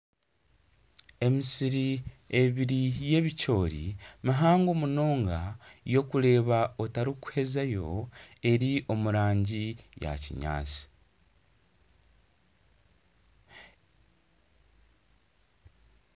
Emisiri y'ebicoori mihango munonga ei orikureeba otarikuhezayo eri omu rangi ya kinyaatsi